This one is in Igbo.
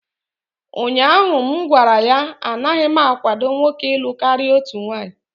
ụnyahụ m gwara ya, anaghị m akwado nwoke ịlụ karịa otu nwanyị!